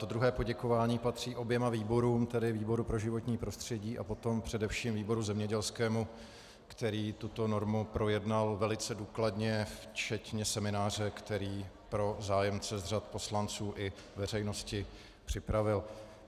To druhé poděkování patří oběma výborům, tedy výboru pro životní prostředí a potom především výboru zemědělskému, který tuto normu projednal velice důkladně včetně semináře, který pro zájemce z řad poslanců i veřejnosti připravil.